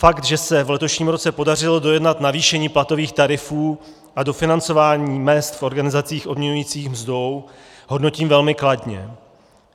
Fakt, že se v letošním roce podařilo dojednat navýšení platových tarifů a dofinancování mezd v organizacích odměňujících mzdou, hodnotím velmi kladně.